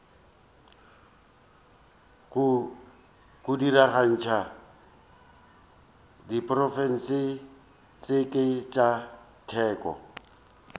go diragatša diprotšeke tša teko